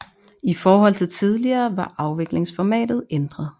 I forhold til tidligere var afviklingsformatet ændret